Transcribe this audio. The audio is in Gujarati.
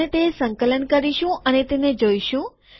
આપણે તે સંકલન કરીશું અને તેને જોઈશું